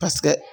Paseke